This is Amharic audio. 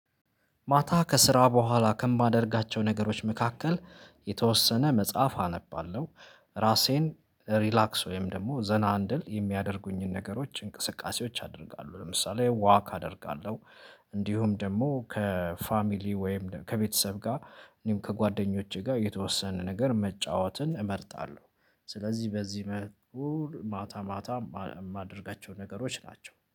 ማታ ከስራ በኋላ ከማደርጋቸው ነገሮች መካከል የተወሰነ መጽሐፍ አነባለሁ። ራሴን ሪላክስ ወይም ደግሞ ዘና እንድል የሚያደርጉኝን ነገሮች እንቅስቃሴዎች አደርጋለሁ ለምሳሌ ዋክ አደርጋለሁ። እንዲሁም ደግሞ ከፋሚሊ ወይም ከቤተሰብ ጋር እኔም ከጓደኞቼ ጋር የተወሰነ ነገር መጫወትን እመርጣለሁ። ስለዚህ በዚህ መልኩ ማታ ማታ የማደርጋቸው ነገሮች ናቸው